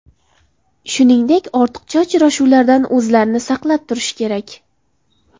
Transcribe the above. Shuningdek, ortiqcha uchrashuvlardan o‘zlarini saqlab turishi kerak.